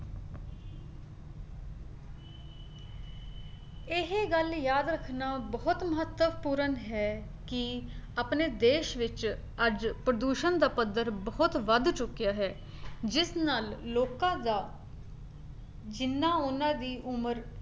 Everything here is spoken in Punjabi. ਇਹ ਗੱਲ ਯਾਦ ਰੱਖਣਾ ਬਹੁਤ ਮਹੱਤਵਪੂਰਨ ਹੈ ਕੀ ਆਪਣੇ ਦੇਸ਼ ਵਿੱਚ ਅੱਜ ਪ੍ਰਦੂਸ਼ਣ ਦਾ ਪੱਧਰ ਬਹੁਤ ਵੱਧ ਚੁੱਕਿਆ ਹੈ, ਜਿਸ ਨਾਲ ਲੋਕਾਂ ਦਾ ਜਿੰਨਾ ਉਹਨਾਂ ਦੀ ਉਮਰ